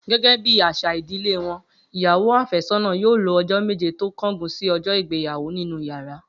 Gé̩gé̩ bí às̩à ìdílé wo̩n, ìyàwó àfé̩só̩nà yóò lò o̩jó̩ méje tó kó̩gun sí o̩jo̩ ìgbéyàwó nínú yàrá